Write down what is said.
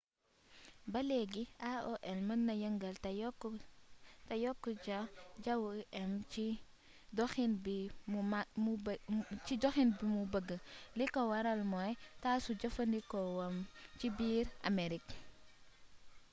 ba leegi aol mën na yëngal te yokk ja wu im ci doxin bi mu bëgg li ko waral mooy tasu jëfandikoowam ci biir amerig